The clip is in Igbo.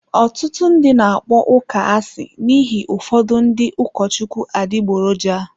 Ọtụtụ ndị na-akpọ ụka asị n'ihi ụfọdụ ndị ụkọchukwu adịgboroja.